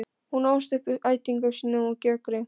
Hún ólst upp hjá ættingjum sínum á Gjögri.